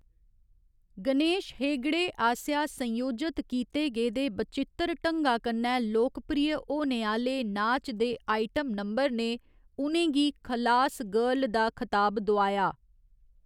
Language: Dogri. गणेश हेगड़े आसेआ संयोजत कीते गेदे बचित्तर ढंगा कन्नै लोकप्रिय होने आह्‌‌‌ले नाच दे आइटम नंबर ने उ'नें गी 'खलास गर्ल' दा खताब दोआया।